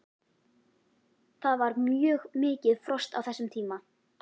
Það var mjög mikið frost á þessum tíma.